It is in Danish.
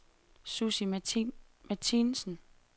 Sussi Martinsen